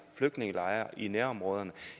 flygtningelejre i nærområderne